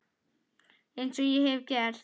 Eins og ég hef gert.